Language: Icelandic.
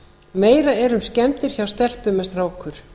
meira er um skemmdir hjá telpum en strákum